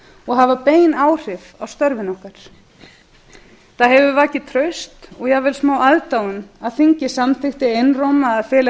og hafa bein áhrif á störfin okkar það hefur vakið traust og jafnvel smáaðdáun að þingið samþykkti einróma að fela